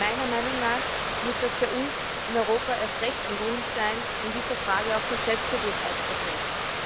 Meiner Meinung nach muss das für uns in Europa erst recht ein Grund sein, in dieser Frage auch sehr selbstbewusst aufzutreten.